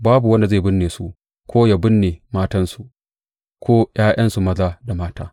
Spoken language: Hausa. Babu wanda zai binne su, ko ya binne matansu, ko ’ya’yansu maza da mata.